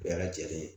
Bɛɛ lajɛlen ye